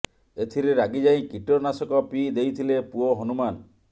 ଏଥିରେ ରାଗି ଯାଇ କୀଟନାଶକ ପିଇ ଦେଇଥିଲେ ପୁଅ ହନୁମାନ